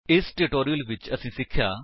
ਇਸ ਟਿਊਟੋਰਿਅਲ ਵਿੱਚ ਅਸੀਂ ਸਿੱਖਿਆ